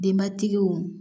Denbatigiw